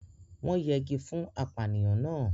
wọ́n yẹgi fún apànìyàn náà.